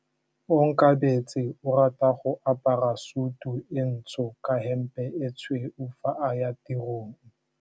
Onkabetse o rata go apara sutu e ntsho ka hempe e tshweu fa a ya tirong.